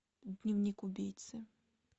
дневник убийцы